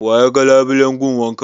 Waye ya yaga labulen gun wankan?